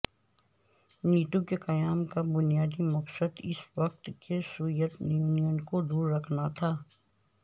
NATO کے قیام کا بنیادی مقصد اس وقت کے سویت یونین کو دور رکھنا تھا